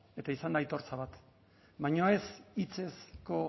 eta izan da aitortza bat baina ez hitzezko